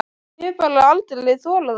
Ég hef bara aldrei þorað það.